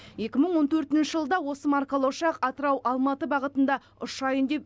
екі мың он төртінші жылы да осы маркалы ұшақ атырау алматы бағытында ұшайын деп